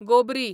गोबरी